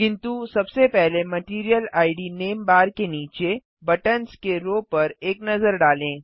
किन्तु सबसे पहले मटैरियल आईडी नेम बार के नीचे बटन्स के रो पर एक नजर डालें